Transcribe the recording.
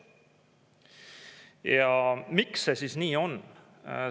Ja miks see nii on?